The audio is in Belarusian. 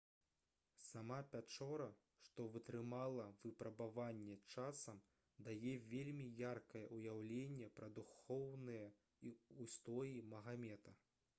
сама пячора што вытрымала выпрабаванне часам дае вельмі яркае ўяўленне пра духоўныя ўстоі магамета